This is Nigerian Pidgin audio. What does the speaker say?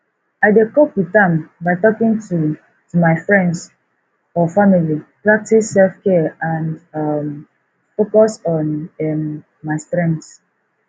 i dey cope with am by talking to to my friends or family preactice selfcare and um focus on um my strengths